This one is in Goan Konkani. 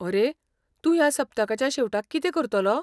अरे, तूं ह्या सप्तकाच्या शेवटाक कितें करतलो?